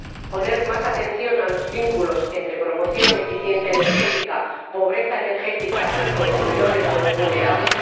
prestar más atención a los vínculos entre promoción, eficiencia energética, pobreza energética y consumidores vulnerables